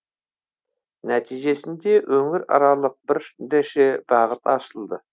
нәтижесінде өңіраралық бірнеше бағыт ашылды